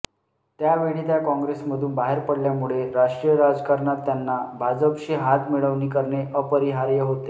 त्यावेळी त्या काँग्रेसमधून बाहेर पडल्यामुळे राष्ट्रीय राजकारणात त्यांना भाजपशी हातमिळवणी करणे अपरिहार्य होते